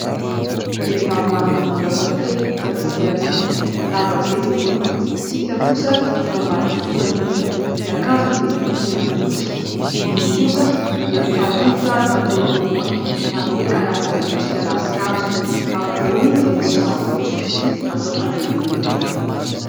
Vehivavy manana volo hafakely hita avy aty aoriana lava be ny volony tsy hita kosa ny eo amban'ny diakoan'ny midina ny akanjony dia tohi-tena fotsy ny volony kosa dia mifandringotra ary makeo ampovoany manome karazana endrika ravinkazo ampovoany dia misy vato fotsifotsy atao fanaingoana ilay volo.